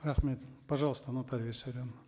рахмет пожалуйста наталья виссарионовна